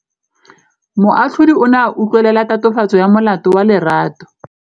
Moatlhodi o ne a utlwelela tatofatsô ya molato wa Lerato.